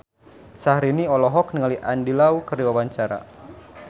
Syahrini olohok ningali Andy Lau keur diwawancara